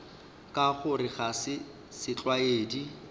ka gore ga se setlwaedi